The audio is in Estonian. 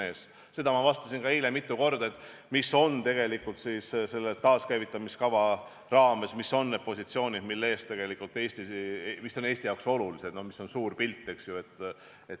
Selle kohta ma vastasin ka eile mitu korda, mis on tegelikult selle taaskäivitamiskava raames need positsioonid, mis on Eesti jaoks olulised ja mis on suur pilt.